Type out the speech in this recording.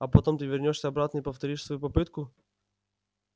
а потом ты вернёшься обратно и повторишь свою попытку